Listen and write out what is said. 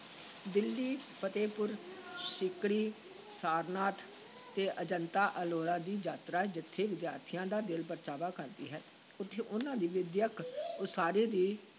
ਦਿੱਲੀ, ਫਤਹਿਪੁਰ ਸੀਕਰੀ, ਸਾਰਨਾਥ ਤੇ ਅਜੰਤਾ-ਅਲੋਰਾ ਦੀ ਯਾਤਰਾ ਜਿੱਥੇ ਵਿਦਿਆਰਥੀਆਂ ਦਾ ਦਿਲ ਪਰਚਾਵਾ ਕਰਦੀ ਹੈ, ਉੱਥੇ ਉਨ੍ਹਾਂ ਦੀ ਵਿੱਦਿਅਕ ਉਸਾਰੀ ਵੀ